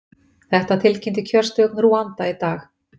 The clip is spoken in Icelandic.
Þetta tilkynnti kjörstjórn Rúanda í dag